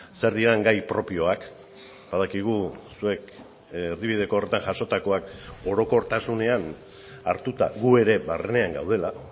zer diren gai propioak badakigu zuek erdibideko horretan jasotakoak orokortasunean hartuta gu ere barnean gaudela